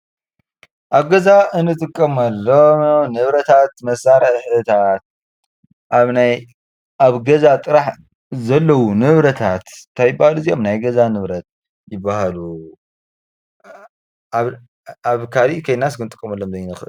ኣብ ገዛ እንጥቀመሎም ንብረታት መሳርሒታት ኣብ ናይ ኣብ ገዛ ጥራሕ ዘለዉ ንብረታት እንታይ ይበሃሉ እዚኦም ናይ ገዛ ንብረት ይበሃሉ። ኣብ ካሊእ ከይድናስ ክንጥቀመሎም ዘይንክእል።